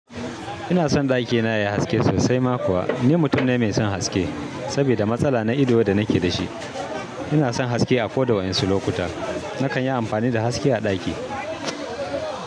Ina son ɗakina yayi haske sosai ma kuwa ni mutum ne mai son haske. Sabida matsala na ido da nake da shi, ina son haske a ko da wasu lokuta. Nakan yi amfani da haske a ɗaki.